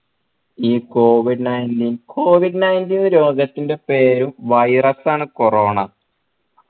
ഈ covid nineteen covid nineteen ന്ന് രോഗത്തിന്റെ പേരും virus ആണ് corona